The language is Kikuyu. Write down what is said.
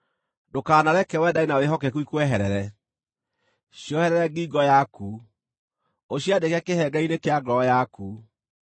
Ndũkanareke wendani na wĩhokeku ikweherere; cioherere ngingo yaku, ũciandĩke kĩhengere-inĩ kĩa ngoro yaku.